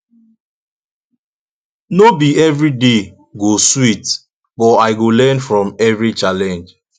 no be every day go sweet but i go learn from every challenge